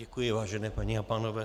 Děkuji, vážené paní a pánové.